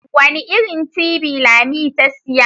Wani irin tibi lami ta siya?